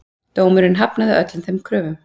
Dómurinn hafnaði öllum þeim kröfum.